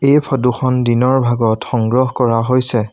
এই ফটো খন দিনৰ ভাগত সংগ্ৰহ কৰা হৈছে।